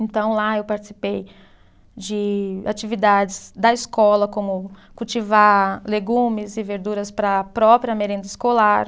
Então, lá eu participei de atividades da escola, como cultivar legumes e verduras para a própria merenda escolar.